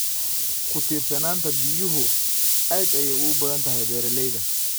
Ku tiirsanaanta biyuhu aad ayay ugu badan tahay beeralayda.